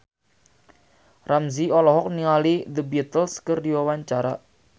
Ramzy olohok ningali The Beatles keur diwawancara